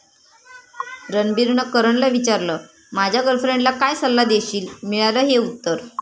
रणबीरनं करणला विचारलं, माझ्या गर्लफ्रेंडला काय सल्ला देशील?, मिळालं हे उत्तर